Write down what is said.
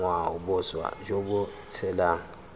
ngwao boswa jo bo tshelang